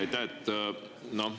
Aitäh!